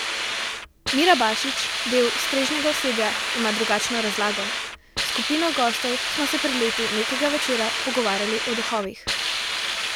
Mira Bašič, del strežnega osebja, ima drugačno razlago: "S skupino gostov smo se pred leti nekega večera pogovarjali o duhovih.